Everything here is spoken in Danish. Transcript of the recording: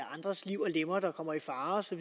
andres liv og lemmer er der